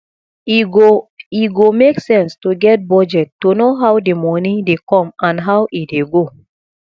e go e go make sense to get budget to know how di moni dey come and how e dey go